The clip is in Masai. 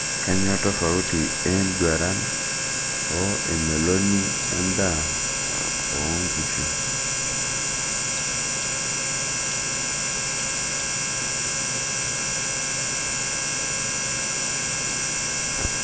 Kanyio tofauti e enduran o emeloni endaa oonkishu?